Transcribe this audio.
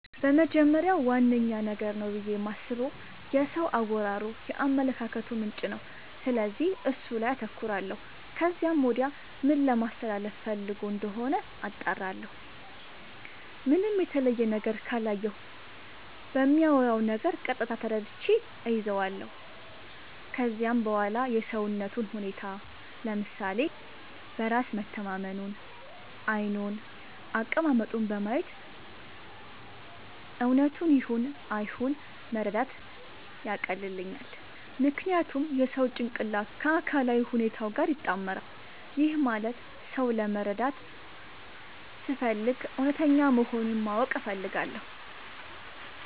በመጀመሪያ ዋነኛ ነገር ነው ብዬ የማስበው የሰው አወራሩ የአመለካከቱ ምንጭ ነው፤ ስለዚህ እሱ ላይ አተኩራለው ከዚያም ወዲያ ምን ለማለስተላለፋ ፈልጎ እንደሆነ አጣራለሁ። ምንም የተለየ ነገር ካላየሁበት በሚያወራው ነገር ቀጥታ ተረድቼ እይዛለው። ከዚያም በዋላ የሰውነቱን ሁኔታ፤ ለምሳሌ በራስ መተማመኑን፤ ዓይኑን፤ አቀማመጡን በማየት እውነቱን ይሁን አይሁን መረዳት ያቀልልኛል። ምክንያቱም የሰው ጭንቅላቱ ከአካላዊ ሁኔታው ጋር ይጣመራል። ይህም ማለት ሰው ለመረዳት ስፈልግ እውነተኛ መሆኑን ማወቅ እፈልጋለው።